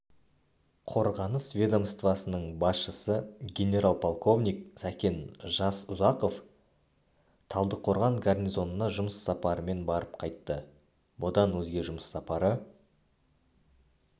қорғаныс ведомствасының басшысы генерал-полковник сәкен жасұзақов талдықорған гарнизонына жұмыс сапарымен барып қайтты бұдан өзге жұмыс сапары